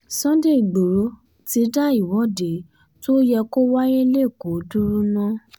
sunday igboro ti dá ìwọ́de tó yẹ kó wáyé lẹ́kọ̀ọ́ dúró ná